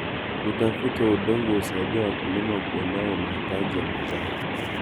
Utafiti wa udongo unasaidia wakulima kuelewa mahitaji ya mazao.